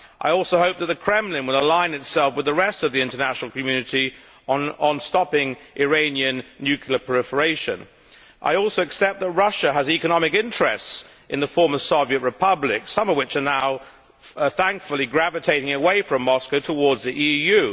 I also hope that the Kremlin will align itself with the rest of the international community on stopping Iranian nuclear proliferation. I also accept that Russia has economic interests in the former Soviet republics, some of which are now thankfully gravitating away from Moscow towards the EU.